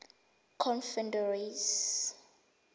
confederacy